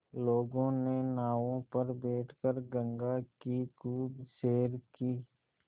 लोगों के नावों पर बैठ कर गंगा की खूब सैर की